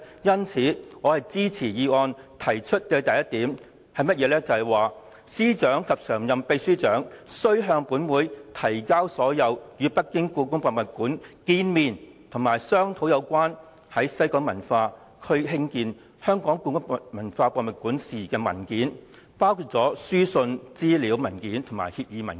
因此，我支持議案第一點提出，"司長及常任秘書長須向本會提交所有與北京故宮博物館見面及商討有關在西九文化區興建香港故宮文化博物館事宜的文件，包括書信、資料文件和協議文件"。